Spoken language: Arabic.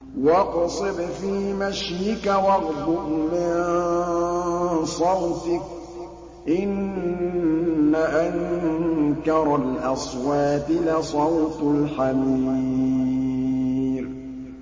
وَاقْصِدْ فِي مَشْيِكَ وَاغْضُضْ مِن صَوْتِكَ ۚ إِنَّ أَنكَرَ الْأَصْوَاتِ لَصَوْتُ الْحَمِيرِ